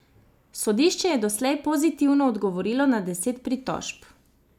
Sodišče je doslej pozitivno odgovorilo na deset pritožb.